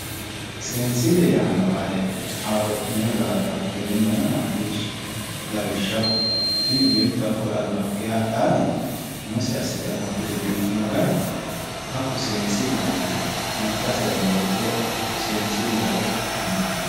Seensile yaano qaali haaro'minoe yoottotera kuleemmohenna maccishshi lawishshaho tini beetto hakko albaankenni hadhani nooti umose assite amaxite biifino gari seensileho yinnanni maccaserano worqe wodhitinohu seensileho yinnanniho.